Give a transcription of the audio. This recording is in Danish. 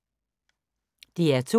DR2